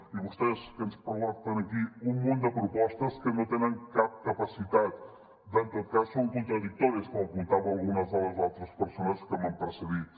i vostès que ens porten aquí un munt de propostes que no tenen cap capacitat i en tot cas són contradictòries com apuntaven algunes de les altres persones que m’han precedit